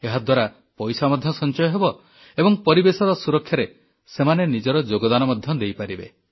ଏହାଦ୍ୱାରା ପଇସା ମଧ୍ୟ ସଂଚୟ ହେବ ଏବଂ ପରିବେଶ ସୁରକ୍ଷାରେ ସେମାନେ ନିଜର ଯୋଗଦାନ ମଧ୍ୟ ଦେଇପାରିବେ